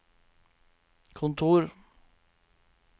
kontor